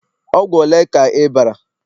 Ogwu ole ka I bara